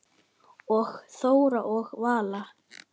Og Þóra og Vala?